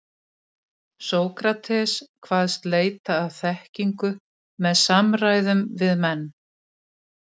Sókrates kvaðst leita að þekkingu með samræðum við menn.